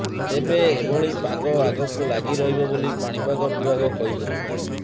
ତେବେ ଏଭଳି ପାଗ ଆଗକୁ ଲାଗି ରହିବ ବୋଲି ପାଣିପାଗ ବିଭାଗ କହିଛି